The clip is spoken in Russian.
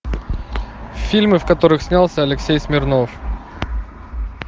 фильмы в которых снялся алексей смирнов